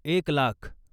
एक लाख